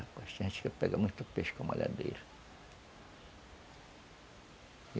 A gente ia pegar muito peixe com a malhadeira.